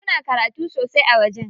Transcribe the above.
Suna karatu sosai a wajen.